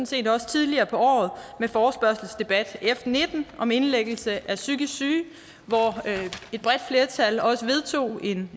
set også tidligere på året med forespørgselsdebat f nitten om indlæggelse af psykisk syge hvor et bredt flertal også vedtog et